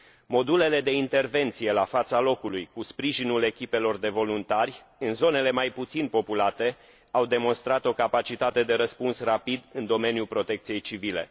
Modulele de intervenție la fața locului, cu sprijinul echipelor de voluntari, în zonele mai puțin populate au demonstrat o capacitate de răspuns rapid în domeniul protecției civile.